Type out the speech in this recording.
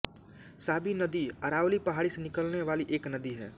साबी नदी अरावली पहाड़ी से निकलने वाली एक नदी है